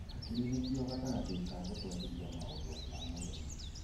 Hakiri nĩcio gatagatĩ ka gũtwarithiria maũndũ ma mwĩrĩ.